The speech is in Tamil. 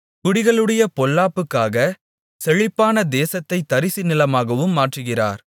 குடிகளுடைய பொல்லாப்புக்காக செழிப்பான தேசத்தைத் தரிசு நிலமாகவும் மாற்றுகிறார்